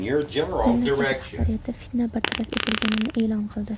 Mamlakat rahbariyati fitna bartaraf etilganini e’lon qildi.